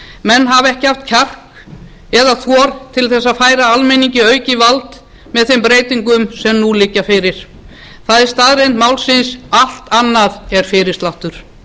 menn hafa ekki haft kjark eða þor til þess að færa almenningi aukið vald með þeim breytingum sem nú liggja fyrir það er staðreynd málsins allt annað er fyrirsláttur